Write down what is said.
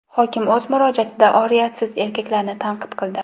Hokim o‘z murojaatida oriyatsiz erkaklarni tanqid qildi.